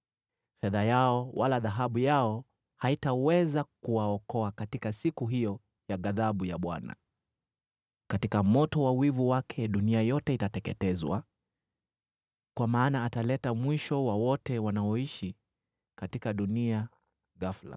Fedha yao wala dhahabu yao hazitaweza kuwaokoa katika siku hiyo ya ghadhabu ya Bwana . Katika moto wa wivu wake dunia yote itateketezwa, kwa maana ataleta mwisho wa wote wanaoishi katika dunia ghafula.”